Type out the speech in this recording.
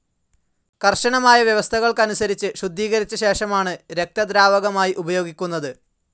കർശനമായ വ്യവസ്ഥകളനുസരിച്ച് ശുദ്ധീകരിച്ച ശേഷമാണ് രക്തദ്രാവകമായി ഉപയോഗിക്കുന്നത്.